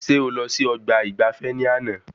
Ṣe o lọ sí ọgbà ìgbafé ní àna?